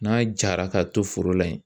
N'a jara ka to foro la yen